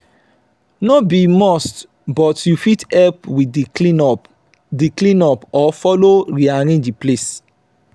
no be must but you fit help with di clean up di clean up or follow rearrange the place